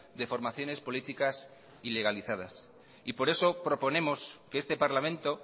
de formaciones políticas ilegalizadas y por eso proponemos que este parlamento